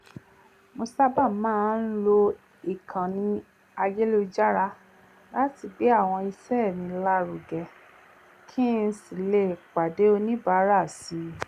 mo sábà máa ń lo ìkànnì ayélujára láti gbé àwọn iṣẹ́ mi lárugẹ kí n sì lè pàdé oníbàárà si